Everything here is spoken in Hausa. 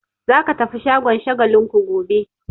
Za ka tafi shagon Shagalinku gobe!